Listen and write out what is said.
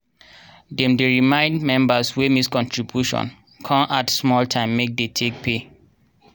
dem dey remind members wey miss contribution con add small time make dey take pay.